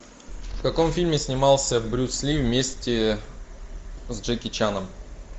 в каком фильме снимался брюс ли вместе с джеки чаном